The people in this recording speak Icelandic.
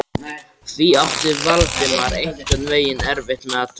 Því átti Valdimar einhvern veginn erfitt með að trúa.